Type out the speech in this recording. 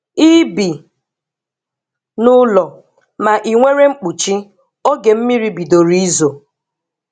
I bi n'ụlọ, ma inwere mkpuchi oge mmiri bidoro izo.